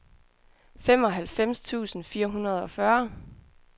femoghalvfems tusind fire hundrede og fyrre